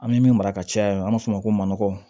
An bɛ min mara ka caya an b'a fɔ o ma ko manɔgɔ